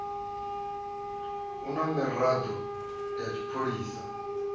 a na miraḓo ya tshipholisa